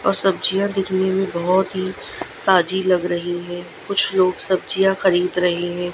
और सब्जियां दिखने में बहुत ही ताजी लग रही है कुछ लोग सब्जियां खरीद रहे है।